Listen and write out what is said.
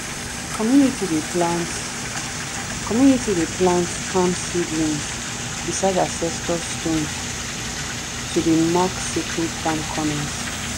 our community dey plant community dey plant palm seedlings beside ancestor stones to dey mark sacred farm corners.